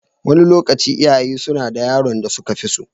Wani lokaci, iyaye suna da yaron da suka fi so.